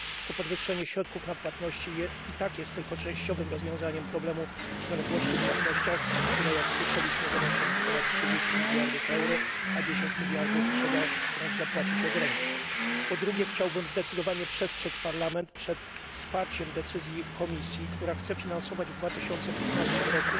To podwyższenie środków na płatności i tak jest tylko częściowym rozwiązaniem problemu zaległości w płatnościach, które jak słyszeliśmy wynoszą już ponad 30 mld euro, a 10 mld trzeba wręcz zapłacić od ręki. Po drugie, chciałbym zdecydowanie przestrzec Parlament przed wsparciem decyzji Komisji, która chce finansować w 2015 r.